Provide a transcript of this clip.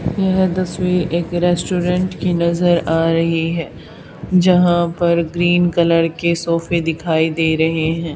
यह दसवीं एक रेस्टोरेंट की नजर आ रही है। जहां पर ग्रीन कलर के सॉफे दिखाई दे रहे हैं।